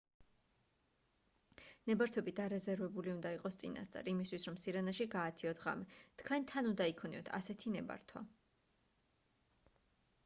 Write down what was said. ნებართვები დარეზერვებული უნდა იყოს წინასწარ იმისთვის რომ სირენაში გაათიოთ ღამე თქვენ თან უნდა იქონიოთ ასეთი ნებართვა